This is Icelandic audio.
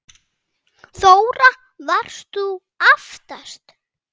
Þóra: Varst þú aftast?